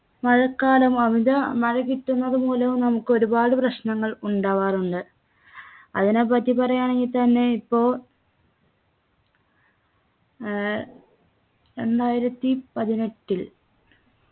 മഴക്കാലം അമിത മഴ കിട്ടുന്നത് മൂലം നമുക്ക് ഒരുപാട് പ്രശ്നങ്ങൾ ഉണ്ടാവാറുണ്ട് അതിനെ പറ്റി പറയാണെങ്കി തന്നെ ഇപ്പൊ ഏർ രണ്ടായിരത്തി പതിനെട്ടിൽ